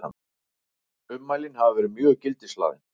Ummælin hafi verið mjög gildishlaðin